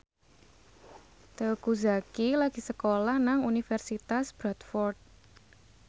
Teuku Zacky lagi sekolah nang Universitas Bradford